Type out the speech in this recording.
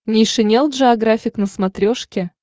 нейшенел джеографик на смотрешке